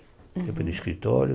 Sempre no escritório.